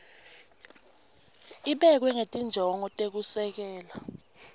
ibekwe ngetinjongo tekusekela